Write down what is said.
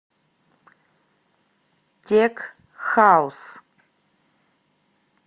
тек хаус